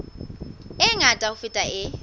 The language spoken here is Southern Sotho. e ngata ho feta e